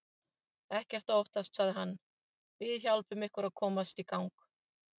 Ekkert að óttast sagði hann, við hjálpum ykkur að komast í gang.